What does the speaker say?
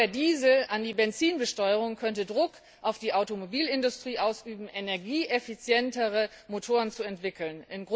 des Dieselkraftstoffs an die Benzinbesteuerung könnte Druck auf die Automobilindustrie ausüben, energieeffizientere Motoren zu entwickeln.